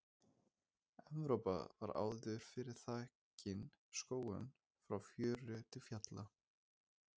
Evrópa var áður fyrr þakin skógum frá fjöru til fjalla.